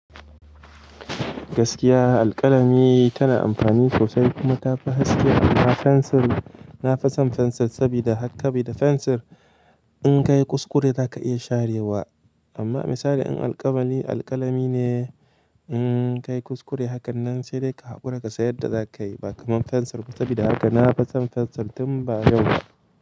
Gaskiya, alƙalami tana amfani sosai, kuma tafi haske amma fensir, na fison fensir sabida haka, sabida fensir in ka yi kuskure za ka iya sharewa. Amma misali in alƙalami, alƙalami ne in ka yi kuskure hakan nan sai dai ka haƙura ka san yadda za ka yi, ba kamar fensir ba sabida haka na fison fensir tun ba yau ba.